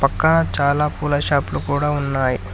పక్కన చాలా పూల షాప్ లు కూడా ఉన్నాయి.